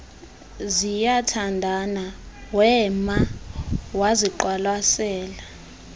ziyathandana wema waziqwalasela